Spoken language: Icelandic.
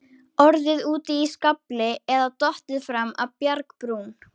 Orðið úti í skafli eða dottið fram af bjargbrún.